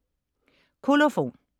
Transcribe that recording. Kolofon